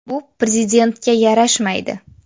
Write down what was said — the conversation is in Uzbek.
Bu prezidentga yarashmaydi”.